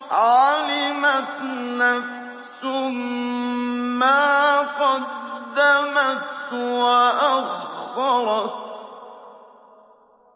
عَلِمَتْ نَفْسٌ مَّا قَدَّمَتْ وَأَخَّرَتْ